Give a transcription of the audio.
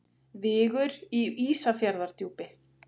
Vigur í Ísafjarðardjúpi.